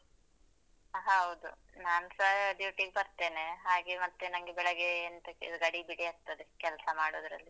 ಹೌದು, ನಾನ್ಸ duty ಗ್ ಬರ್ತೇನೆ ಹಾಗೆ ಮತ್ತೆ ನಂಗೆ ಬೆಳಗ್ಗೇ ಎಂಟಕ್ಕೆ ಗಡಿ ಬಿಡಿ ಆಗ್ತದೆ ಕೆಲ್ಸ ಮಾಡುದ್ರಲ್ಲಿ.